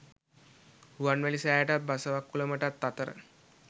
රුවන්වැලි සෑයටත් බසවක්කුළමටත් අතර